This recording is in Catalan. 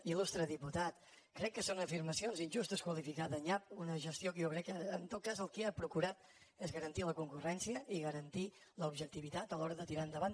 il·lustre diputat crec que són afirmacions injustes qualificar de nyap una gestió que jo crec que en tot cas el que ha procurat és garantir la concurrència i garantir l’objectivitat a l’hora de tirar endavant